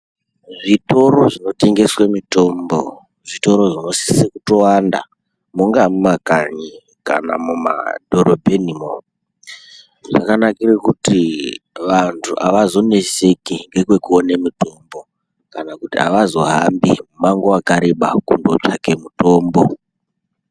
Zvitoro zvinotengese mitombo zvitoro zvinotosise kuwanda mungava mumakanyi kana mumadhorobhenimwo zvakanakire kuti vantu avazonetseki kuone mitombo kana kuti avazohambi mumango wakareba kunotsvake mutombo .